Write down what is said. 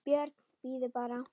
BJÖRN: Bíðið bara!